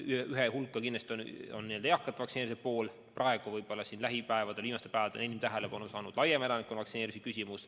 Üks on jah eakate vaktsineerimise pool, aga viimastel päevadel on enim tähelepanu saanud laiem elanikkonna vaktsineerimine.